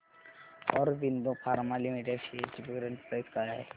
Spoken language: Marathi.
ऑरबिंदो फार्मा लिमिटेड शेअर्स ची करंट प्राइस काय आहे